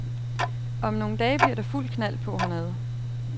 Om nogle dage bliver der fuld knald på hernede.